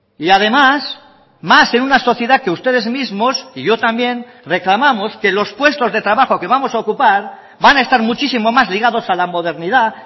y además más en una sociedad que ustedes mismos y yo también reclamamos que los puestos de trabajo que vamos a ocupar van a estar muchísimo más ligados a la modernidad